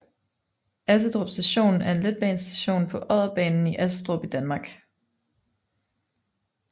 Assedrup Station er en letbanestation på Odderbanen i Assedrup i Danmark